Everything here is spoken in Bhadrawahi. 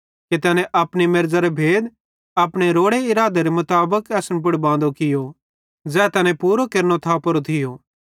कि तैने अपनी मेरज़रो भेद अपने रोड़े इरादेरे मुताबिक असन पुड़ बांदो कियो ज़ै तैने पूरो केरनो थापोरो थियो